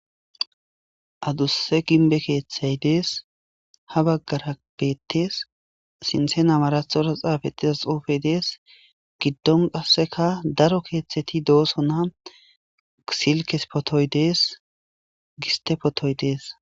Adusse ginbe keeththay dees ha baggarabettes sinthe namarathora xaafettidas xoufey dees giddon qasseka daro keeththeti dooso na uksilkes potoy dees giste potoy dees.